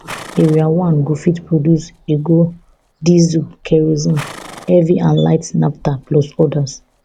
area one go fit produce hehgo diesel kerosene heavy and light plus odas